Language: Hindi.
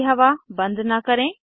ताज़ी हवा बंद न करें